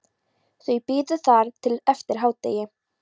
Þau biðu þar til eftir hádegi.